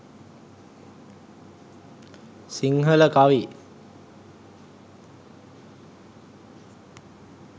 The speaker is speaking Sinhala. sinhala kavi